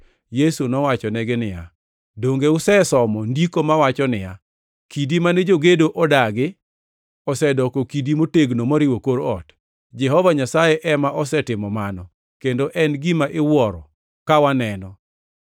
Yesu nowachonegi niya, “Donge usesomo Ndiko mawacho niya, “ ‘Kidi mane jogedo odagi osedoko kidi motegno moriwo kor ot, Jehova Nyasaye ema osetimo mano, kendo en gima iwuoro ka waneno?’ + 21:42 \+xt Zab 118:22,23\+xt*